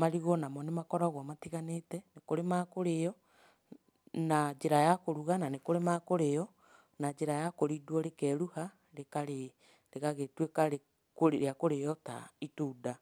marigũ o namo nĩ makoragwo matiganĩte, nĩ kũrĩ ma kũrĩo na njĩra ya kũruga na nĩ kũrĩ ma kũrĩo na njĩra ya kũrindwo, rĩkeruha rĩkarĩo, rĩgagĩtuĩka rĩa kũrĩo ta itunda.